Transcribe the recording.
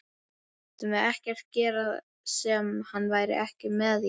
Mættum við ekkert gera sem hann væri ekki með í?